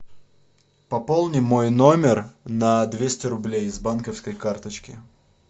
пополни мой номер на двести рублей с банковской карточки